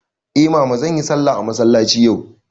Eh mama, zanyi sallah a masallaci yau.